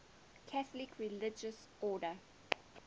catholic religious order